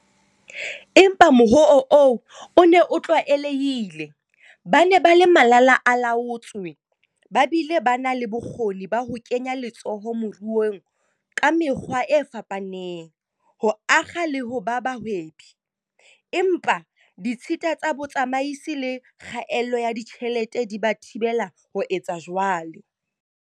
Empa mohoo oo o ne o tlwaelehile- ba ne ba le malala-a-laotswe ba bile ba na le bokgoni ba ho kenya letsoho moruong ka mekgwa e fapaneng, ho akga le ho ba bahwebi, empa ditshita tsa bo tsamaisi le kgaello ya ditjhelete di ba thibela ho etsa jwalo.